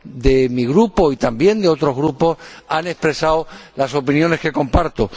de mi grupo y también de otros grupos han expresado las opiniones que comparto.